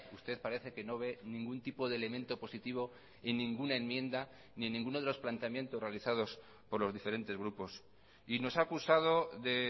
usted parece que no ve ningún tipo de elemento positivo en ninguna enmienda ni en ninguno de los planteamientos realizados por los diferentes grupos y nos ha acusado de